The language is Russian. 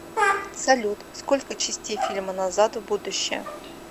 салют сколько частеи фильма назад в будущее